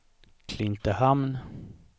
Klintehamn